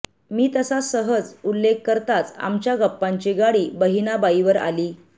मी तसा सहज उल्लेख करताच आमच्या गप्पांची गाडी बहिणाबाईंवर आली